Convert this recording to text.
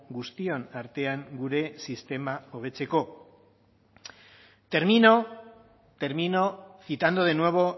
guztion artean gure sistema hobetzeko termino citando de nuevo